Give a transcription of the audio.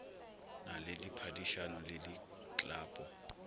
na le diphadišano le diklapo